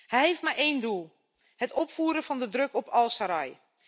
Hij heeft maar één doel het opvoeren van de druk op al-Serraj.